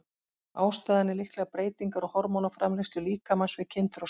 Ástæðan er líklega breytingar á hormónaframleiðslu líkamans við kynþroska.